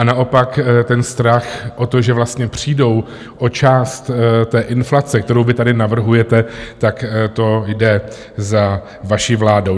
A naopak ten strach o to, že vlastně přijdou o část té inflace, kterou vy tady navrhujete, tak to jde za vaší vládou.